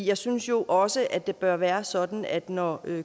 jeg synes jo også at det bør være sådan at når